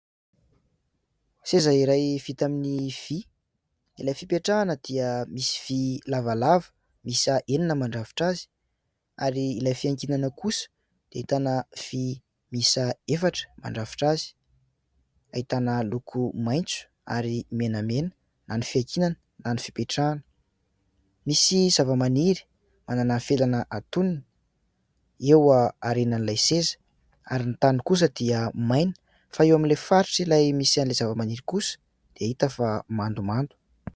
Seza iray vita amin'ny vy. Ilay fipetrahana dia misy vy lavalava miisa enina mandrafitra azy ary ilay fiankinana kosa dia ahitana vy miisa efatra mandrafitra azy ; ahitana loko maitso ary menamena na ny fiankinana na ny fipetrahana. Misy zavamaniry manana felana antonony eo aorianan'ilay seza ary ny tahony kosa dia maina fa eo amin'ilay faritra ilay misy an'ilay zavamaniry kosa dia hita fa mandomando.